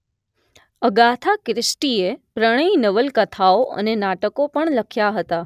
Agatha ક્રિસ્ટીએ પ્રણય નવલકથાઓ અને નાટકો પણ લખ્યા હતા